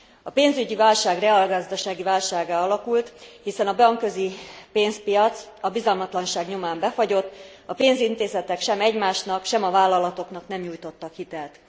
A pénzügyi válság reálgazdasági válsággá alakult, hiszen a bankközi pénzpiac a bizalmatlanság nyomán befagyott, a pénzintézetek sem egymásnak, sem a vállalatoknak nem nyújtottak hitelt.